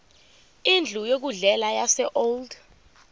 indlu yokudlela yaseold